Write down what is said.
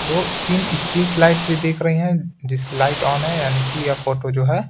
दो तीन street lights भी दिख रही हैं जिसकी लाइट ऑन है यानी कि यह फोटो जो है।